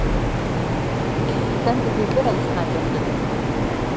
Þú stendur þig vel, Snæbjartur!